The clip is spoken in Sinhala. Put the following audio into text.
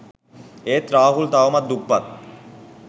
ඒත් රාහුල් තවමත් දුප්පත්